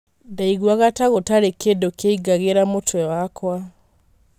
Ndaiguaga ta gũtarĩ kindũkĩaingagĩra mũtwe wakwa.